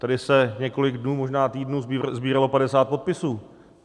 Tady se několik dnů, možná týdnů sbíralo 50 podpisů.